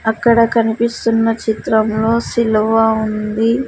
అక్కడ కనిపిస్తున్న చిత్రంలో సిలువ ఉంది.